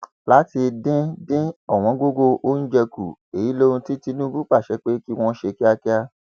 láti dín dín ọwọngọgọ oúnjẹ kù èyí lohun tí tìtúbù pàṣẹ pé kí wọn ṣe kíákíá